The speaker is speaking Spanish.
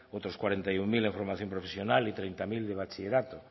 otros cuarenta y uno mil en formación profesional y treinta mil de bachillerato